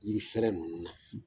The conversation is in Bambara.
Yirifɛrɛɛ ninnu na